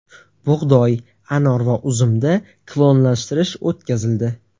Bug‘doy, anor va uzumda klonlashtirish o‘tkazildi.